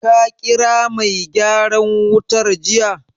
Ka ƙira mai gyaran wutar jiya?